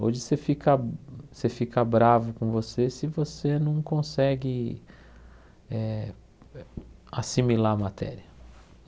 Hoje você fica você fica bravo com você se você não consegue eh assimilar a matéria.